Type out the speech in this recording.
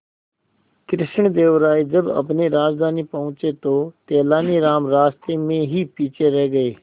कृष्णदेव राय जब अपनी राजधानी पहुंचे तो तेलानीराम रास्ते में ही पीछे रह गए